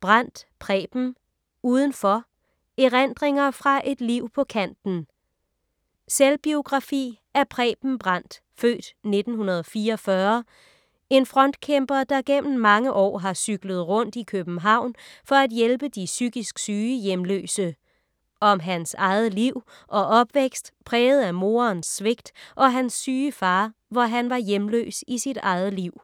Brandt, Preben: Udenfor: erindringer fra et liv på kanten Selvbiografi af Preben Brandt (f. 1944), en frontkæmper der gennem mange år har cyklet rundt i København for at hjælpe de psykisk syge hjemløse. Om hans eget liv og opvækst præget af morens svigt og hans syge far, hvor han var hjemløs i sit eget liv.